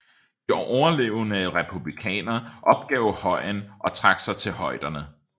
De overlevende republikanere opgav højen og trak sig til højderne